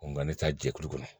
Nka ne ta jɛkulu kɔnɔ